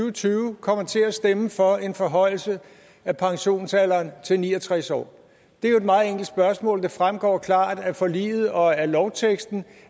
og tyve kommer til at stemme for en forhøjelse af pensionsalderen til ni og tres år det er jo et meget enkelt spørgsmål det fremgår klart af forliget og af lovteksten